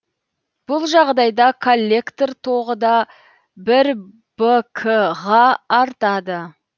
бұл жағдайда коллектор тоғыда бір б к ға артады